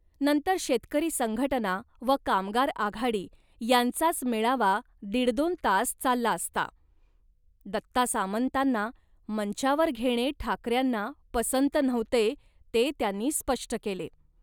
नंतर शेतकरी संघटना व कामगार आघाडी यांचाच मेळावा दीडदोन तास चालला असता. दत्ता सामंतांना मंचावर घेणे ठाकऱ्यांना पसंत नव्हते ते त्यांनी स्पष्ट केले